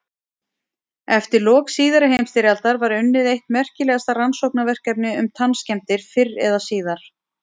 Eftir lok síðari heimsstyrjaldar var unnið eitt merkilegasta rannsóknarverkefni um tannskemmdir fyrr eða síðar.